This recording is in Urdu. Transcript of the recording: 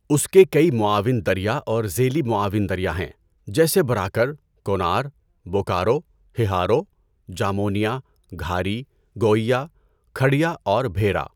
اس کے کئی معاون دریا اور ذیلی معاون دریا ہیں، جیسے براکر، کونار، بوکارو، ہہارو، جامونیا، گھاری، گوئیا، کھڈیا اور بھیرا۔